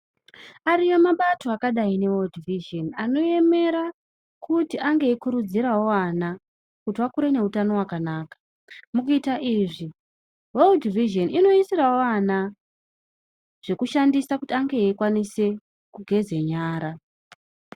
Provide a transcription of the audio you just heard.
Ariyo mabato akadai neWorld Vision anoemera kuti ange eikurudzirawo vana kuti vakure neutano wakanaka. Mukuita izvi World Vision inoisirawo vana zvekushandisa kuti ange eikwanisa kugeze nyara.